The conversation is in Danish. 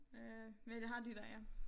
Øh men jeg har de der ja